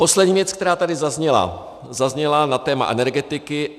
Poslední věc, která tady zazněla, zazněla na téma Energetiky.